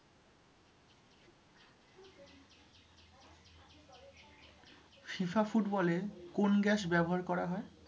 FIFA ফুটবলে কোন gas ব্যবহার করা হয়